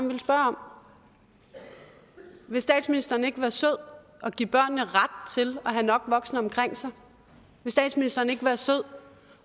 ville spørge om vil statsministeren ikke være sød at give børnene ret til at have nok voksne omkring sig vil statsministeren ikke være sød